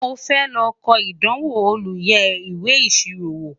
mọ fẹ ló kò ìdánwò olú yé ìwé ìṣirò wò